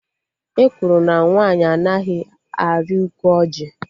Ekwuru na nwaanyị anaghị arị ukwu ọjị